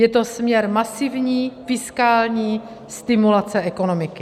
Je to směr masivní fiskální stimulace ekonomiky.